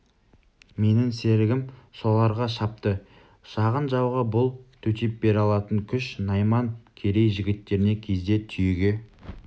менің серігім соларға шапты шағын жауға бұл төтеп бере алатын күш найман керей жігіттеріне кезде түйеге